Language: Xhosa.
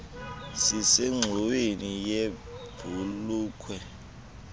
sisengxoweni yebh ulukh